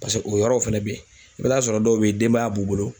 Paseke o yɔrɔw fɛnɛ be yen. I be t'a sɔrɔ dɔw be yen denbaya b'u bolo